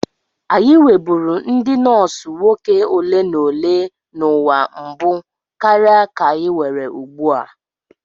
Anyị nweburu ndị nọọsụ nwoke ole na ole n'ụwa mbụ karịa ka anyị nwere ugbu a.